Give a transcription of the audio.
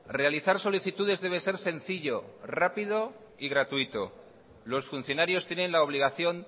realizar solicitudes debe ser sencillo rápido y gratuito los funcionarios tienen la obligación